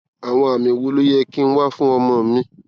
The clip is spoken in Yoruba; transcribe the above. àwọn àmì wo ló yẹ kí n wá fún ọmọ mi